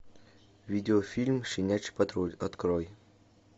видеофильм щенячий патруль открой